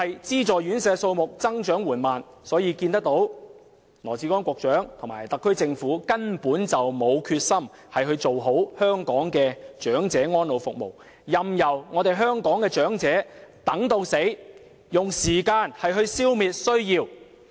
資助院舍數目增長緩慢，可見羅致光局長及特區政府根本沒有決心做好香港的長者安老服務，任由長者在等待中離世，用時間來消滅需要。